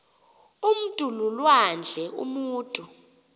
umntu lulwandle umutu